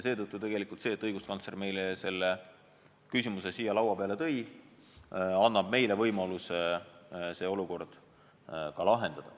Seetõttu see, et õiguskantsler selle küsimuse meile siia laua peale tõi, annab meile võimaluse see olukord lahendada.